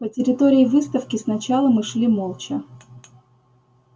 по территории выставки сначала мы шли молча